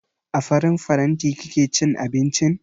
A farin faranti kake cin abincin?